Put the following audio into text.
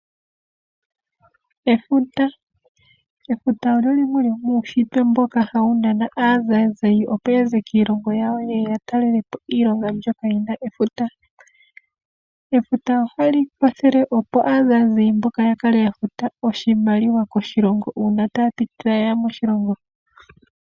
Efuta olyo lyimwe lyomuushitwe ndoka hali nana aatalelipo nenge aazazazayi opo ya ze kiilongo yawo yeye yatalelepo efuta.